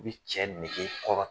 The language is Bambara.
I bɛ cɛ nege kɔrɔ